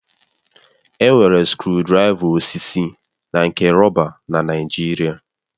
Enwere skrụdiraiva osisi na nke rọba na Naịjirịa.